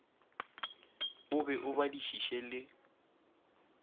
o be o badišiše le